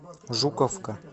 жуковка